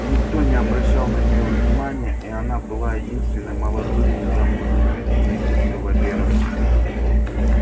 никто не обращал на нее внимания и она была единственной молодой незамужней женщиной без кавалера